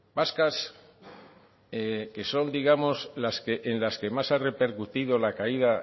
vascas que son digamos en las que más ha repercutido la caída